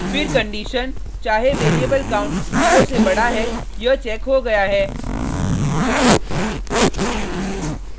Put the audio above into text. फिर कंडिशन चाहे variable count zero से बडा है यह चेक हो गया है